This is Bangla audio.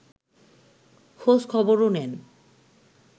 খোঁজ-খবরও নেন